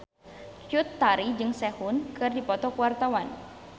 Cut Tari jeung Sehun keur dipoto ku wartawan